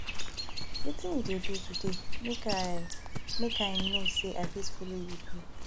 wetin you dey do today make i make i know say i fit follow you do